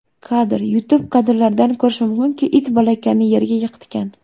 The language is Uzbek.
Kadr: YouTube Kadrlardan ko‘rish mumkinki, it bolakayni yerga yiqitgan.